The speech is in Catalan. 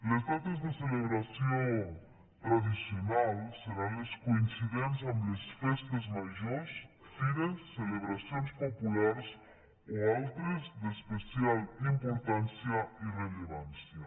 les dates de celebració tradicionals seran les coincidents amb les festes majors fires celebracions populars o altres d’especial importància i rellevància